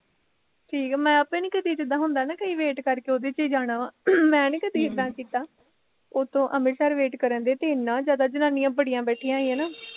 ਠੀਕ ਐ, ਮੈਂ ਆਪ ਨੀ ਜਿੱਦਾ ਹੁੰਦਾ ਨਾ ਕਈ wait ਕਰਕੇ ਉਹਦੇ ਚ ਈ ਜਾਣਾ ਮੈਨੀ ਕਦੀ ਇਦਾਂ ਕੀਤਾ ਉੱਤੋਂ ਅਮ੍ਰਿਤਸਰ wait ਕਰਨਦੇ ਤੇ ਏਨਾਂ ਜਿਆਦਾ ਜਨਾਨੀਆ ਬੜੀਆ ਬੈਠੀਆਂ ਸੀ ਹੈਨਾ